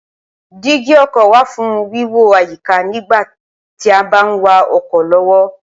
dígí ọkọ̀ wà fún wíwo àyíká nígbà tí a bá ń wa ọkọ̀ lọ́wọ́